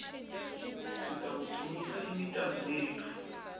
sitawucinisa imitamo yetfu